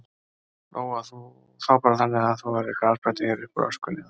Lóa: Þá bara þannig að það verði grasblettur hér uppúr öskunni, eða?